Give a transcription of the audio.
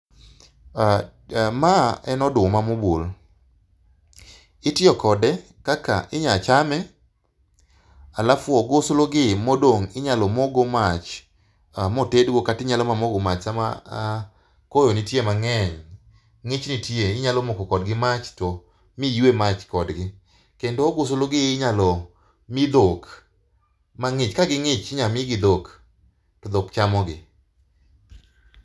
Ma en oduma mobul, itiyo kode kaka inya chame, halafu oguslu gi modong inyalo mokgo mach motedgo kata inyalo moko go mach sam a koyo nitie mangeny, ngich nitie inyalo moko kodgi mach miywe mach kodgi. Kendo oguslu gi inyalo mii dhok mangich ka gingich inyalo mii gi dhok to dhok chamogi